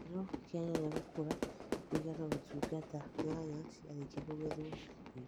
Gĩkĩro kĩa nyanya gũkũra kũigana Gũtungata nyanya ciarĩkia kũgethwo na Kũigwo